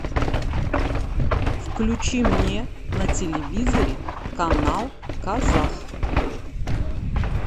включи мне на телевизоре канал казах